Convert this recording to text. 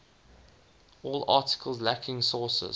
all articles lacking sources